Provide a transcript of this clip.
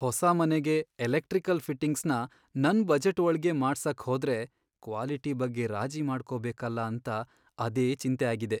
ಹೊಸ ಮನೆಗೆ ಎಲೆಕ್ಟ್ರಿಕಲ್ ಫಿಟ್ಟಿಂಗ್ಸ್ನ ನನ್ ಬಜೆಟ್ ಒಳ್ಗೇ ಮಾಡ್ಸಕ್ಹೋದ್ರೆ ಕ್ವಾಲಿಟಿ ಬಗ್ಗೆ ರಾಜಿ ಮಾಡ್ಕೋಬೇಕಲ ಅಂತ ಅದೇ ಚಿಂತೆ ಆಗಿದೆ.